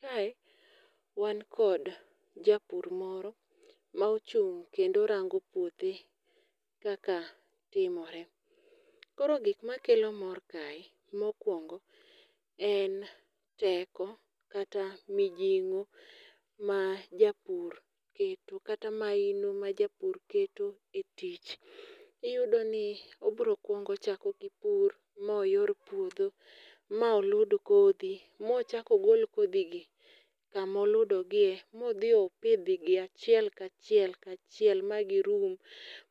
Kae, wan kod japur moro ma ochung' kendo rango puothe kaka timore. Koro gik makelo mor kae, mokwongo, en teko kata mijingo ma japur keto, kata mahino ma japur keto e tich. Iyudo ni obiro kwongo ochako gi pur, ma oyor puodho, ma olud kodhi, mochak ogol kodhi gi kamoludogie, modhi opidhgi achiel ka chiel ka chiel magirum,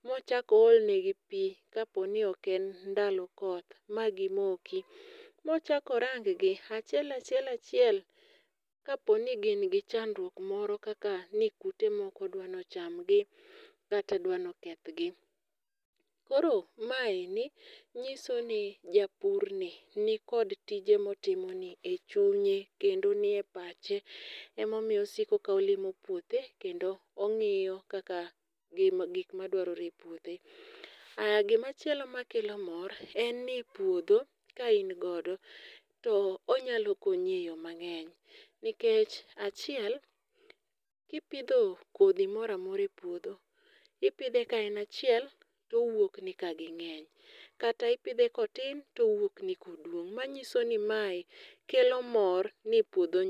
mochak oolnegi pi ka po ni oken ndalo koth, magimoki. Mochak oranggi achiel achiel achiel, kaponi gin gi chandruok moro kaka ni kute moko dwani ochamgi kata dwani okethgi. Koro maendi nyiso ni japur ni, ni kod tije motimo ni e chunye kendo ni e pache emomiyo osiko ka olimo puothe, kendo ong'iyo kaka gik madwarore e puothe. Aya gima chielo ma kelo mor, en ni puodho ka in godo to onyalo konyi eyo mang'eny. Nikech achiel, kipidho kodhi moramora e puodho, ipidhe kaen achiel to owuokni ka ging'eny. Kata ipidhe kotin to wuokni koduong'. Ma nyiso ni mae kelo mor ni puodho.